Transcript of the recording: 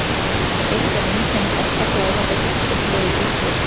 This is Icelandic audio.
Eitt af einkennum ofsakláða eru upphleypt rauð útbrot.